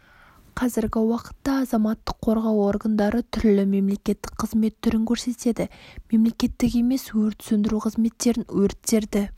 қазіргі уақытта азаматтық қорғау органдары түрлі мемлекеттік қызмет түрін көрсетеді мемлекеттік емес өрт сөндіру қызметтерін өрттерді